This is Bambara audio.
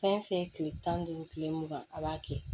Fɛn fɛn tile tan ni duuru tile mugan a b'a kɛ